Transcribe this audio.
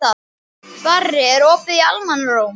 Barri, er opið í Almannaróm?